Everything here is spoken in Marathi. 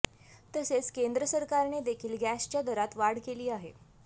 तसेच केंद्र सरकारने देखील गॅसच्या दरात वाढ केली आहे